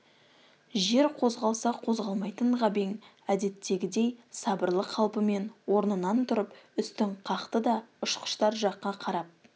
жер қозғалса қозғалмайтын ғабең әдеттегідей сабырлы қалпымен орнынан тұрып үстін қақты да ұшқыштар жаққа қарап